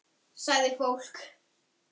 Sagði fólk.